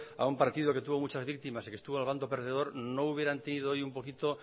a un partido que tuvo muchas víctimas y que estuvo en el bando perdedor no hubieran tenido hoy un poquito